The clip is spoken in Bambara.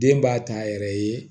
Den b'a ta yɛrɛ ye